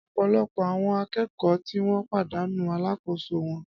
Ọ̀pọ̀lọpọ̀ àwọn akẹ́kọ̀ọ́ tí wọ́n pàdánù alákòóso wọn